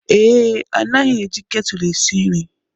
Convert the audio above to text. Ee, anaghị eji ketụl esi nri.